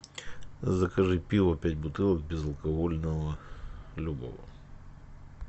закажи пиво пять бутылок безалкогольного любого